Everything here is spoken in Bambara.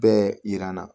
Bɛɛ yir'an na